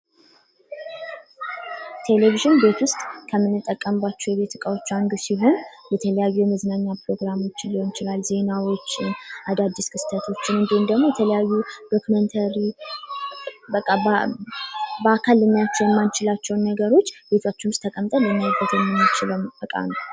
ቴለቪዥን ቤት ውስጥ ከምንጠቀምባቸው እቃዎች አንዱ ሲሆን የተለያዩ የመዝናኛ ፕሮግራሞችን ሊሆን ይችላል ዜናዎችን አዳድስ ክስተቶችን እንድሁም ደግሞ የተለያዩ ዶክመንተሪ በአካል ልናያቸው የማንችላቸውን ነገሮች ቤታችን ውስጥ ተቀምጠን ልናይበት የምንችለው እቃ ነው።